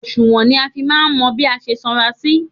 Òsùnwọ̀n ni a fi máa ń mọ bí a ṣe sanra sí.